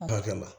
Ba kɛ la